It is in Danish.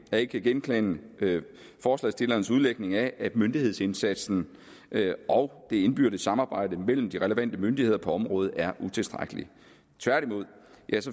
jeg ikke kan genkende forslagsstillernes udlægning af at myndighedsindsatsen og det indbyrdes samarbejde mellem de relevante myndigheder på området er utilstrækkelig tværtimod